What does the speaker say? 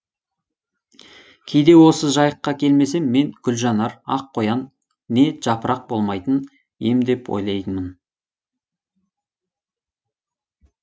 кейде осы жайыққа келмесем мен гүлжанар ақ қоян не жапырақ болмайтын ем деп ойлаймын